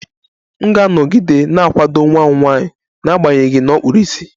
M ga-anọgide na-akwado nwa m nwanyị n'agbanyeghị na ọ kpuru ìsì